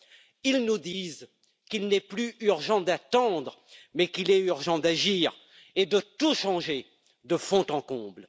Cette jeunesse nous dit qu'il n'est plus urgent d'attendre, mais qu'il est urgent d'agir et de tout changer de fond en comble.